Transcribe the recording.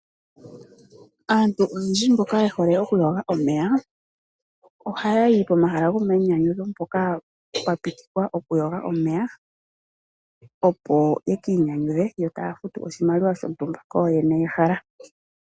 Aantu oyendji mboka ye hole okuyoga omeya ohaya yi komahala gomainyanyudho hoka pwa pitikwa okuyoga omeya, opo ya ka inyanyudhe yo taya futu oshimaliwa shontumba kooyene yehala.